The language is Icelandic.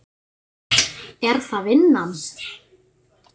Er það vinnan?